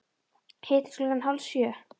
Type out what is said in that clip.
Hittumst klukkan hálf sjö.